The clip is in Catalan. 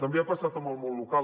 també ha passat amb el món local